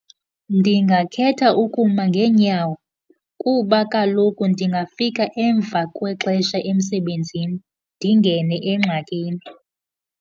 Ndingakhetha ukuma ngeenyawo kuba kaloku ndingafika emva kwexesha emsebenzini, ndingene engxakini.